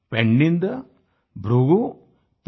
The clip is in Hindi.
पेन्निंदा परमेगोंडानू हिमवंतनु